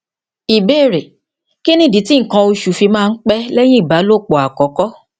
ìbéèrè kí nìdí tí nkan osu fi máa ń pẹ lẹyìn ìbálòpọ àkọkọ